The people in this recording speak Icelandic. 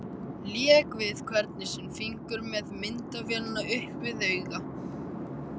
Lék við hvern sinn fingur með myndavélina upp við auga.